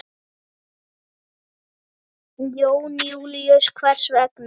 Jón Júlíus: Hvers vegna?